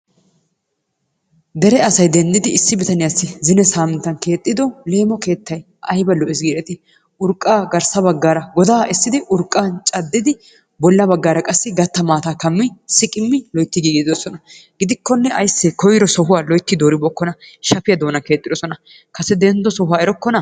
Dere asay denddiidi issi bitaniyaassi zine saaminttan keexxido leemo keettay ayba lo"ees giideti. Urqqaa garssa baggaara goddaa essiidi urqqan caaddidi bolla baaggaara qaassi gaatta maataa kaammidi siiqimmi woottidi yiidosona. Gidikonne aysee sohuwaa giicci dooribookkona. shaffiyaa doonan keexxidoosona. Kase denddo sohuwaa erokkonaa?